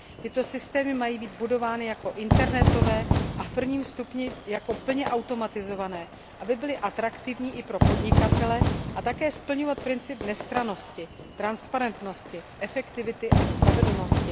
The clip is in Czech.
Tyto systémy mají být budovány jako internetové a v prvním stupni jako plně automatizované, aby byly atraktivní i pro podnikatele, a také mají splňovat princip nestrannosti, transparentnosti, efektivity a spravedlnosti.